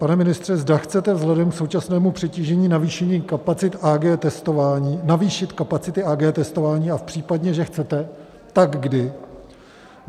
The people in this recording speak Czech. Pane ministře, zda chcete vzhledem k současnému přetížení navýšit kapacity Ag testování, a v případě, že chcete, tak kdy?